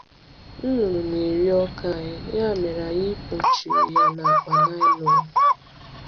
Nnụnụ na-eri ọka anyị, ya mere anyị kpuchiri ya na akpa nylon.